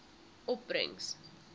opbrengs